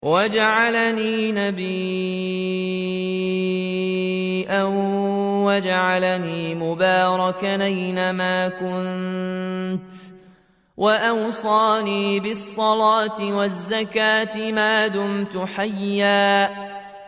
وَجَعَلَنِي مُبَارَكًا أَيْنَ مَا كُنتُ وَأَوْصَانِي بِالصَّلَاةِ وَالزَّكَاةِ مَا دُمْتُ حَيًّا